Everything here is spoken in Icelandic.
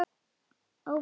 Og ófær nema.